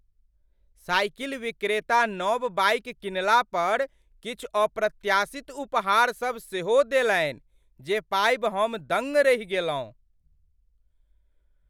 Cycle विक्रेता नव bike किनलापर किछु अप्रत्याशित उपहार सब सेहो देलनि जे पाबि हम दङ्ग रहि गेलहुँ।